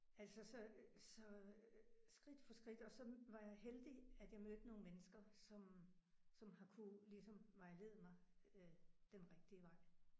Altså så så skridt for skridt og så var jeg heldig at jeg mødte nogle mennesker som som har kunnet ligesom vejlede mig øh den rigtige vej